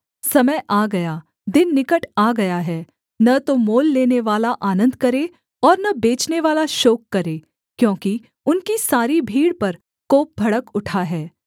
समय आ गया दिन निकट आ गया है न तो मोल लेनेवाला आनन्द करे और न बेचनेवाला शोक करे क्योंकि उनकी सारी भीड़ पर कोप भड़क उठा है